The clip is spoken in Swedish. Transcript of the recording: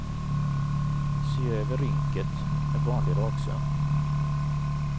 Sy över rynket med vanlig raksöm.